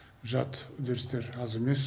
жат үдерістер аз емес